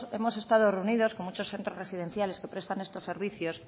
hemos estado reunidos con muchos centros residenciales que prestan estos servicios